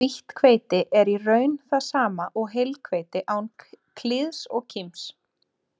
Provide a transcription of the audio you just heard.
Hvítt hveiti er í raun það sama og heilhveiti án klíðs og kíms.